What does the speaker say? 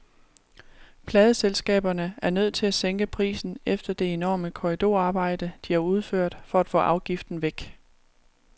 Pladeselskaberne er nødt til at sænke prisen efter det enorme korridorarbejde, de har udført for at få afgiften væk.